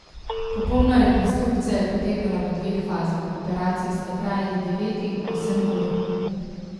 Popolna rekonstrukcija je potekala v dveh fazah, operaciji sta trajali devet in osem ur.